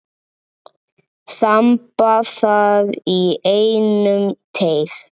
Þamba það í einum teyg.